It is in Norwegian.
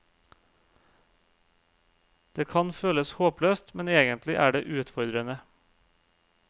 Det kan føles håpløst, men egentlig er det utfordrende.